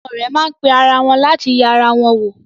Àwọn ọ̀rẹ́ má pe ara wọn láti yẹ ara wọn wò.